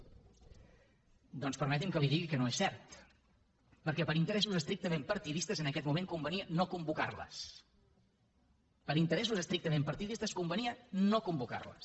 doncs permeti’m que li digui que no és cert perquè per interessos estrictament partidistes en aquest moment convenia no convocar les per interessos estrictament partidistes convenia no convocar les